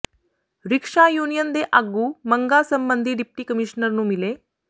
rickshaw union ਦੇ ਆਗੂ ਮੰਗਾਂ ਸਬੰਧੀ ਡਿਪਟੀ ਕਮਿਸ਼ਨਰ ਨੂੰ ਮਿਲੇ